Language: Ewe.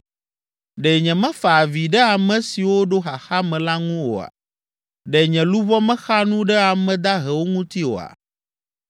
Ɖe nyemefa avi ɖe ame siwo ɖo xaxa me la ŋu oa? Ɖe nye luʋɔ mexa nu ɖe ame dahewo ŋuti oa?